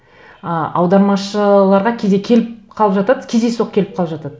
ы аудармашыларға кейде келіп қалып жатады кездейсоқ келіп қалып жатады